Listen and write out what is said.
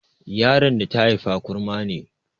Yaron da ta haifa kurma ne